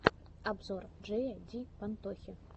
обзор джея ди пантохи